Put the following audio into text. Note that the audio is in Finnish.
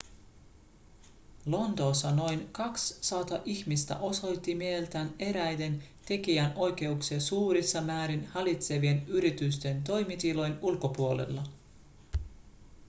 lontoossa noin 200 ihmistä osoitti mieltään eräiden tekijänoikeuksia suurissa määrin hallitsevien yritysten toimitilojen ulkopuolella